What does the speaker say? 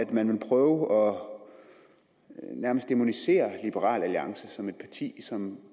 man vil prøve og nærmest dæmonisere liberal alliance som et parti som